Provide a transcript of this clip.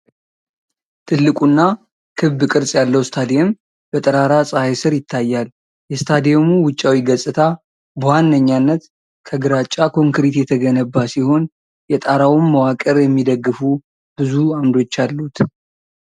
ትልቁና ክብ ቅርጽ ያለው ስታዲየም በጠራራ ፀሐይ ስር ይታያል። የስታዲየሙ ውጫዊ ገጽታ በዋነኝነት ከግራጫ ኮንክሪት የተገነባ ሲሆን፣ የጣራውን መዋቅር የሚደግፉ ብዙ ዓምዶች አሉት።